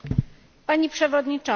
Pani Przewodnicząca!